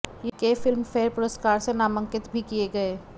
के Filmfare पुरस्कार से नामांकित भी किये गये